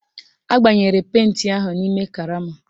Agbanyere penti ahụ n'ime karama